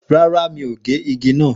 Rárá ,mi ò gé igi naa.